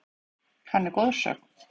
Hann er goðsögn.